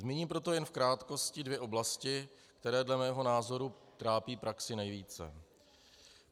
Zmíním jenom jen v krátkosti dvě oblasti, které dle mého názoru trápí praxi nejvíce.